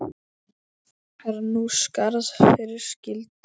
Er nú skarð fyrir skildi.